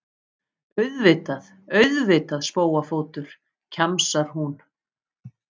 Auðvitað, auðvitað, spóafótur, kjamsar hún.